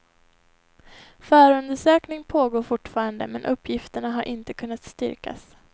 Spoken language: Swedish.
Förundersökning pågår fortfarande men uppgifterna har inte kunnat styrkas.